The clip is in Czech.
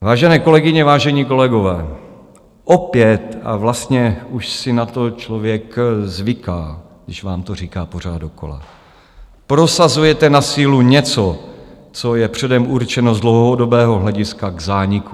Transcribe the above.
Vážené kolegyně, vážení kolegové, opět, a vlastně už si na to člověk zvyká, když vám to říká pořád dokola, prosazujete na sílu něco, co je předem určeno z dlouhodobého hlediska k zániku.